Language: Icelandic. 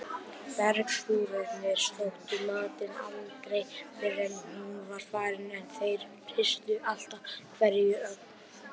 Bergbúarnir sóttu matinn aldrei fyrr en hún var farin en þeir hirtu alltaf hverja ögn.